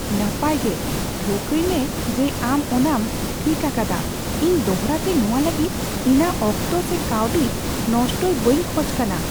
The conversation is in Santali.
ᱱᱟᱯᱟᱭ ᱜᱮ, ᱴᱷᱟᱹᱣᱠᱟᱹᱭᱢᱮ ᱡᱮ ᱟᱢ ᱚᱱᱟᱟᱢ ᱴᱷᱤᱠ ᱟᱠᱟᱫᱟ ᱾ ᱤᱧ ᱫᱚᱲᱦᱟᱛᱮ ᱱᱚᱣᱟ ᱞᱟᱹᱜᱤᱫ ᱤᱧᱟᱜ ᱚᱠᱛᱚ ᱥᱮ ᱠᱟᱹᱣᱰᱤ ᱱᱚᱥᱴᱟᱭ ᱵᱟᱧ ᱠᱷᱚᱡ ᱠᱟᱱᱟ ᱾